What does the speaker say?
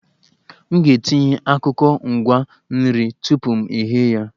M ga-etinye ọkụkọ ngwa nri tupu m eghe ya